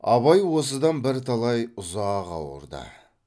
абай осыдан бірталай ұзақ ауырды